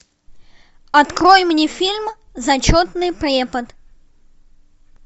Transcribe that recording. открой мне фильм зачетный препод